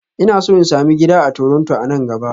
Ina so in sami gida a Toronto a nan gaba